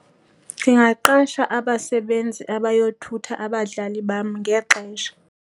Ndingaqasha abasebenzi abayothutha abadlali bam ngexesha.